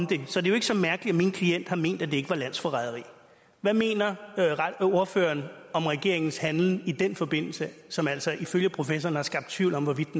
det er jo ikke så mærkeligt at min klient har ment at det ikke var landsforræderi hvad mener ordføreren om regeringens handlen i den forbindelse som altså ifølge professoren har skabt tvivl om hvorvidt